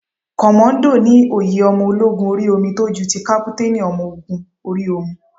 Kọ́mọ́dọ̀ ni oyè ọmọ ológun orí omi tó ju ti kápútánì ọmọ ogún orí omi.